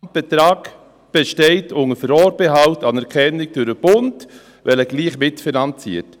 Der Betrag besteht unter Vorbehalt der Anerkennung durch den Bund, wenn er gleich mitfinanziert.